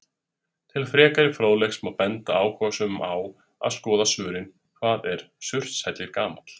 Til frekari fróðleiks má benda áhugasömum á að skoða svörin Hvað er Surtshellir gamall?